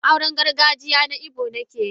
Auren gargajiya na Igbo nake yi.